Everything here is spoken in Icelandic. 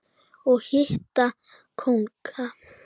og hitta kónga.